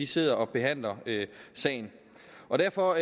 sidder og behandler sagen og derfor